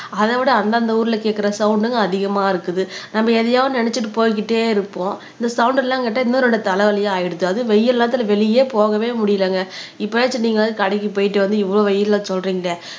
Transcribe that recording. அதைவிட அந்தந்த ஊர்ல கேட்கிற சவுண்ட்ங்க அதிகமா இருக்குது நம்ம எதையாவது நினைச்சுட்டு போய்க்கிட்டே இருப்போம் இந்த சவுண்ட் எல்லாம் கேட்டா இன்னொரு தலைவலியா ஆயிடுச்சு அது வெயில் நேரத்துல வெளியே போகவே முடியலைங்க இப்பயாச்சும் நீங்க வந்து கடைக்கு போயிட்டு வந்து இவ்வளவு வெயில்ல சொல்றீங்களே